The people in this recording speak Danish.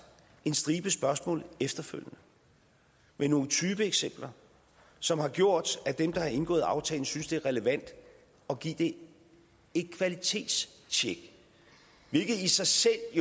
en stribe spørgsmål med nogle typeeksempler som har gjort at dem der har indgået aftalen synes at det er relevant at give den et kvalitetstjek hvilket jo i sig selv